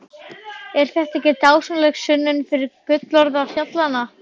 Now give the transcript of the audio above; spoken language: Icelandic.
Er þetta ekki dásamleg sönnun fyrir gullroða fjallanna?